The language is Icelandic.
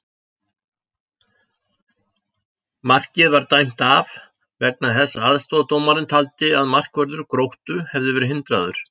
Markið var dæmt af vegna þess að aðstoðardómarinn taldi að markvörður Gróttu hefði verið hindraður!